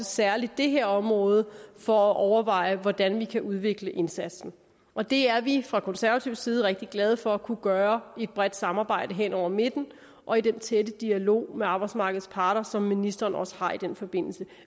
særlig det her område for at overveje hvordan vi kan udvikle indsatsen og det er vi fra konservativ side rigtig glade for at kunne gøre i et bredt samarbejde hen over midten og i den tætte dialog med arbejdsmarkedets parter som ministeren også har i den forbindelse